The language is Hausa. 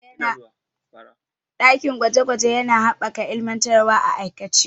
Dakin gwaje gwaje yana haɓaka ilmantarwa a aikace.